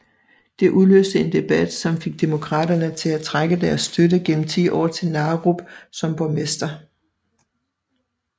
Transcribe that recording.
Det udløste en debat som fik Demokraterne til at trække deres støtte gennem 10 år til Narup som borgmester